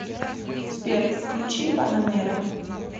сбер включи панамэра